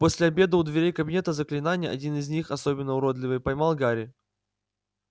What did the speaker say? после обеда у дверей кабинета заклинаний один из них особенно уродливый поймал гарри